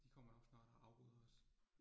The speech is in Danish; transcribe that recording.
De kommer nok snart og afbryder os